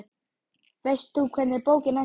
Helga Arnardóttir: Veist þú hvernig bókin endar?